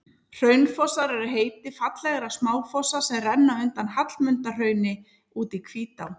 Hraunfossar er heiti fallegra smáfossa sem renna undan Hallmundarhrauni út í Hvítá.